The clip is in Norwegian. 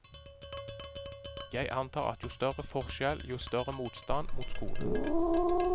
Jeg antar at jo større forskjell, jo større motstand mot skolen.